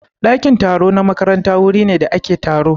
Ɗakin taro na makaranta wuri ne da ake taro.